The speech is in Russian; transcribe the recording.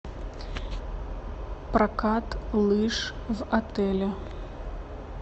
прокат лыж в отеле